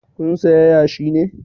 Kun saya yashi ne?